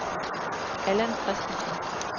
Allan Kristensen